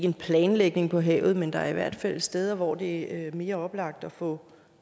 en planlægning for havet men der er i hvert fald steder hvor det er mere oplagt at få